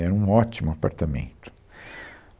Era um ótimo apartamento.